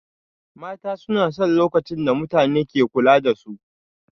Mata suna son lokacin da mutane ke kula da su